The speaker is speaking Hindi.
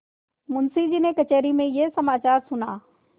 मुंशीजी ने कचहरी में यह समाचार सुना